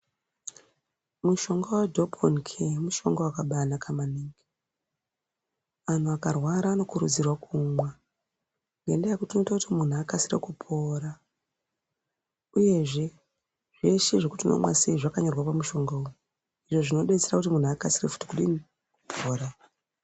Mushonga wedheponi keya mushonga wakanaka maningi, anthu akarwara anokurudzirwa kuumwa ngendaa yekuti unoita kuti munthu akasire kupora ,uyezve zveshe zvekuti unomwa sei zvakanyorwa pamushonga uyu izvo zvinoita futi kuti munthu akasike kupora.